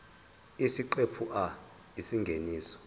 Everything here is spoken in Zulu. isiqephu a isingeniso